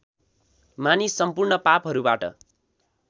मानिस सम्पूर्ण पापहरूबाट